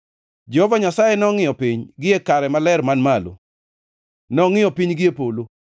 “Jehova Nyasaye nongʼiyo piny gie kare maler man malo, nongʼiyo piny gie polo,